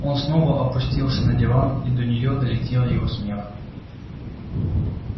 он снова опустился на диван и до неё долетел его смех